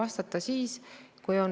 Austatud rahvastikuminister!